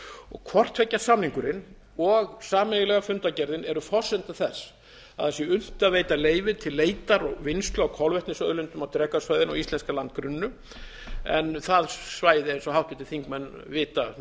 og eitt hvort tveggja samningurinn og sameiginlega fundargerðin eru forsenda þess að sé unnt að veita leyfi til leitar og vinnslu á kolvetnisauðlindum á drekasvæðinu og íslenska landgrunninu en það svæði eins og háttvirtir þingmenn vita